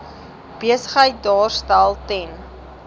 besigheid daarstel ten